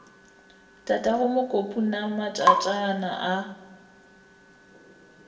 tatago mokopu na matšatšana a